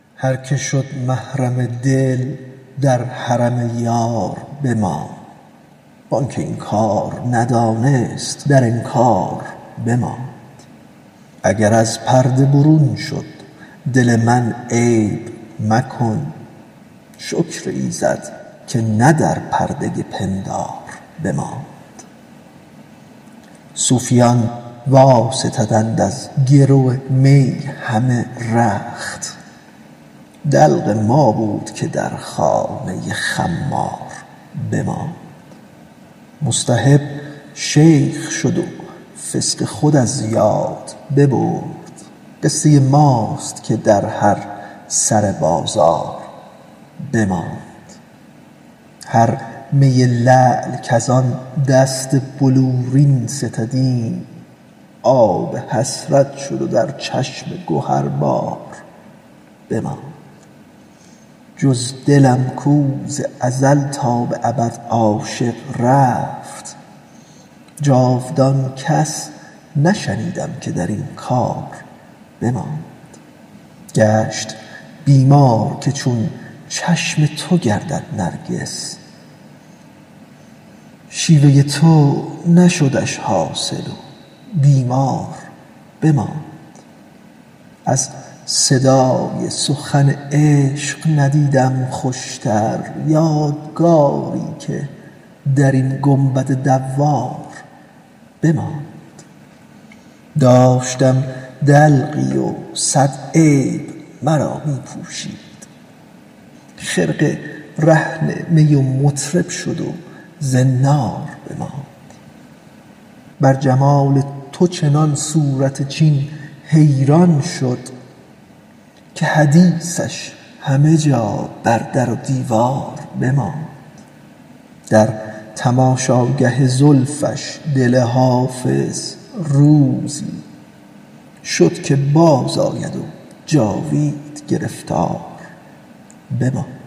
هر که شد محرم دل در حرم یار بماند وان که این کار ندانست در انکار بماند اگر از پرده برون شد دل من عیب مکن شکر ایزد که نه در پرده پندار بماند صوفیان واستدند از گرو می همه رخت دلق ما بود که در خانه خمار بماند محتسب شیخ شد و فسق خود از یاد ببرد قصه ماست که در هر سر بازار بماند هر می لعل کز آن دست بلورین ستدیم آب حسرت شد و در چشم گهربار بماند جز دل من کز ازل تا به ابد عاشق رفت جاودان کس نشنیدیم که در کار بماند گشت بیمار که چون چشم تو گردد نرگس شیوه تو نشدش حاصل و بیمار بماند از صدای سخن عشق ندیدم خوشتر یادگاری که در این گنبد دوار بماند داشتم دلقی و صد عیب مرا می پوشید خرقه رهن می و مطرب شد و زنار بماند بر جمال تو چنان صورت چین حیران شد که حدیثش همه جا در در و دیوار بماند به تماشاگه زلفش دل حافظ روزی شد که بازآید و جاوید گرفتار بماند